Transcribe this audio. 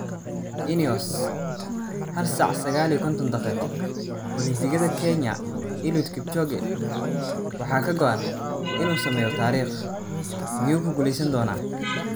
"INEOS Hal saac sagal iyo konton daqiqo": Olimbikada Kenya Eliud Kipchoge waxaa ka go'an inuu sameeyo taariikh, miyuu ku guuleysan doonaa?